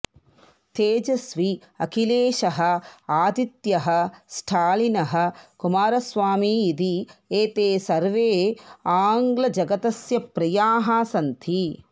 तेजस्वी अखिलेशः आदित्यः स्टालिनः कुमारस्वामी इति एते सर्वे आङ्ग्लजगतस्य प्रियाः सन्ति